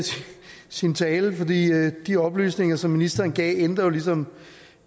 sin tale fordi de oplysninger som ministeren gav jo ligesom